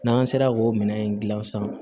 N'an sera k'o minɛn in gilan sisan